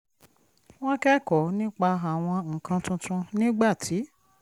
mo kẹ́kọ̀ọ́ nípa àwọn nǹkan tuntun nígbà tí